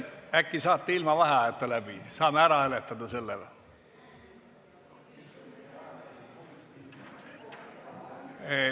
Äkki saate ilma vaheajata läbi, saame selle ära hääletada?